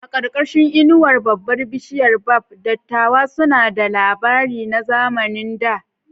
A ƙarƙashin inuwar babbar bishiyar baobab, dattawa suna ba da labari na zamanin da.